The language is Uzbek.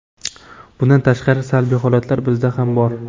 Bundan tashqari, salbiy holatlar bizda ham bor.